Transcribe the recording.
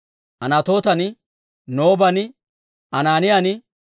Anatootan, Nooban, Anaaniyan,